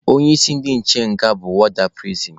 Onye isi ndị nche nga bụ wọọda pirisin.